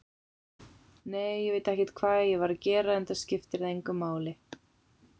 Nei, ég veit ekkert hvað ég var að gera, enda skiptir það engu máli.